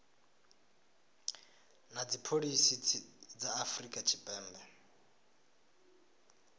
na dzipholisi dza afrika tshipembe